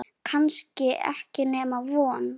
Kannski ekki nema von.